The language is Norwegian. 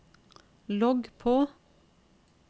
logg på